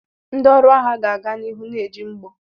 Ndị ọrụ agha ga-aga n'ihu na-eji mgbọ.